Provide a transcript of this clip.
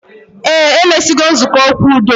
Eh, emesigo nzukọ okwu udo